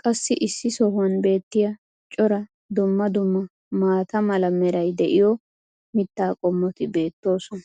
qassi issi sohuwan beetiya cora dumma dumma maata mala meray diyo mitaa qommoti beetoosona.